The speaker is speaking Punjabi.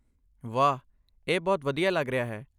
ਵਾਹ... ਇਹ ਬਹੁਤ ਵਧੀਆ ਲੱਗ ਰਿਹਾ ਹੈ!